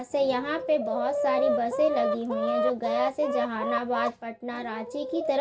यहाँ पे बहु सारी बसें लगी हुई हैं जो गया से जहांनाबाद पटना रांची की तरफ --